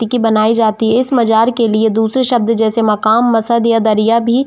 टीकी कि बनाई जाती है इस मजार के लिए दुसरी शब्द जैसे मकाम मसद या दरिया भी --